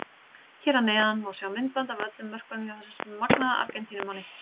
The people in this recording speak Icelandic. Hér að neðan má sjá myndband af öllum mörkunum hjá þessum magnaða Argentínumanni.